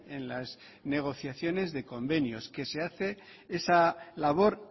en las negociaciones de convenios que se hace esa labor